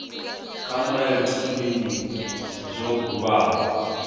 kha mulayotibe ndi zwo bulwaho